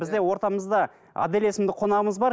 бізде ортамызда адель есімді қонағымыз бар